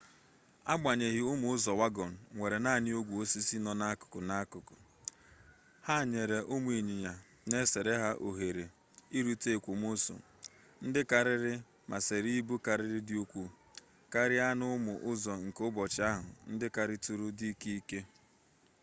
agbanyeghị ụmụ ụzọwagọn nwere naanị ogwe osisi nọ n'akụkụ n'akụkụ ha nyere ụmụ ịnyịnya na-esere ha ohere irute ekwomọsọ ndị karịrị ma sere ibu kara dị ukwuu karịa n'ụmụ ụzọ nke ụbọchị ahụ ndị karịtụrụ dị ike ike